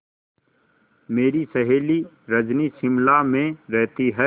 मेरी सहेली रजनी शिमला में रहती है